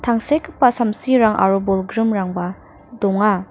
tangsekgipa samsirang aro bolgrimrangba donga.